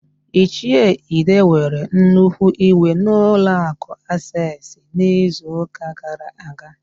Ichie ide were nnukwu iwe n'ụlọakụ Aseesị n'izuụka gara aga.